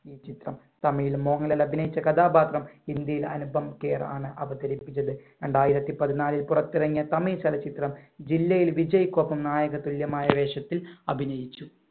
ഈ ചിത്രം തമിഴിൽ മോഹൻലാൽ അഭിനയിച്ച കഥാപാത്രം ഹിന്ദിയിൽ അനുപംകേറാണ് അവതരിപ്പിച്ചത്. രണ്ടായിരത്തി പതിനാലിൽ പുറത്തിറങ്ങിയ തമിഴ് ചലച്ചിത്രം ജില്ലയിൽ വിജയിക്കൊപ്പം നായകതുല്യമായ വേഷത്തിൽ അഭിനയിച്ചു.